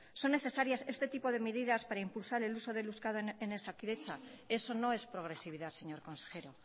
son necesarias este tipo de medidas para impulsar el uso de euskera en osakidetza eso no es progresividad señor consejero